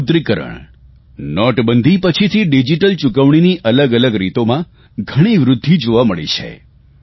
વિમુદ્રિકરણ નોટબંધી પછીથી ડીજીટલ ચૂકવણીની અલગઅલગ રીતોમાં ઘણી વૃદ્ધિ જોવા મળી છે